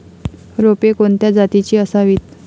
रोपे कोणत्या जातीची असावीत